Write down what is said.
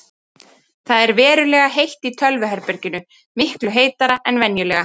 Það ver verulega heitt í tölvuherberginu, miklu heitara en venjulega.